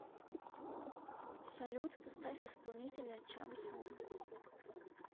салют поставь исполнителя чамсом